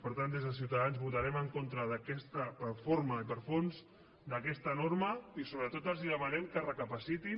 per tant des de ciutadans votarem en contra per forma i per fons d’aquesta norma i sobretot els demanem que reflexionin